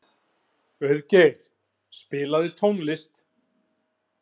Auðgeir, spilaðu tónlist.